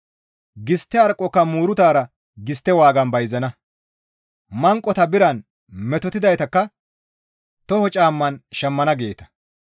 Gistte harqqoka muuruta gistte waagan bayzana; manqota biran, metotidaytakka toho caamman shammana» geeta.